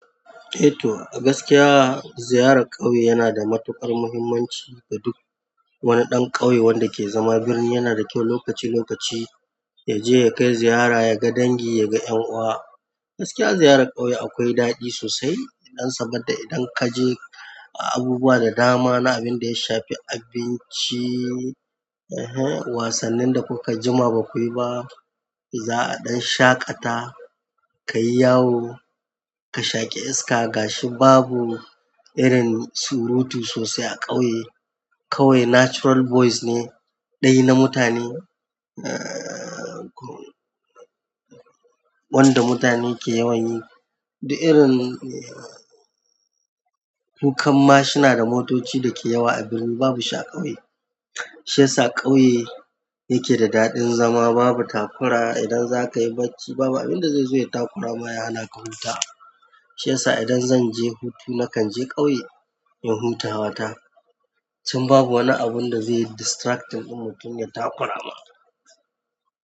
Eh to, a gaskiya ziyarar ƙauye yana da matuƙar muhimmanci ga duk, wani ɗan ƙauye wanda ke zama birni yana da ƙyau lokaci-lokaci ya je ya kai ziyara, ya ga dangi, ya ga ƴan uwa. Gaskiya ziyarar ƙauye akwai daɗi sosai idan saboda idan kaje, abubuwa da dama na abinda ya shafi abinci, wasannin da kuka jima ba kuyi ba, za'a ɗan shaƙata kayi yawo ka shaƙi iska, gashi babu irin surutu sosai a ƙauye. Ƙauye natural voice ne, ɗayi na mutane, eh hen, wanda mutane ke yawan yi, da irin kukan mashina da motoci da ke yawa a birni babu shi a ƙauye. Shi ya sa ƙauye, yake da daɗin zama, babu takura idan zakayi bacci babu abin da zai zo ya takurama, ya hana ka huta. Shi ya sa idan zan je hutu nakan je ƙauye in hutawa ta. Can babu wani abin da zai yi distracting ɗin mutum ya takura ma.